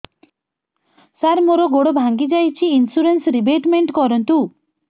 ସାର ମୋର ଗୋଡ ଭାଙ୍ଗି ଯାଇଛି ଇନ୍ସୁରେନ୍ସ ରିବେଟମେଣ୍ଟ କରୁନ୍ତୁ